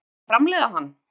væri hægt að framleiða hann